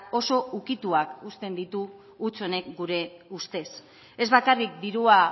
oso ukituak uzten ditu huts honek gure ustez ez bakarrik dirua